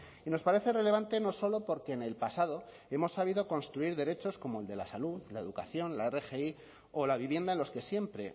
y nos parece relevante no solo porque en el pasado hemos sabido construir derechos como el de la salud la educación la rgi o la vivienda en los que siempre